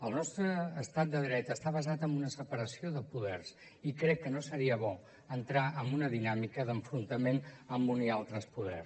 el nostre estat de dret està basat en una separació de poders i crec que no seria bo entrar en una dinàmica d’enfrontament amb un i altre poder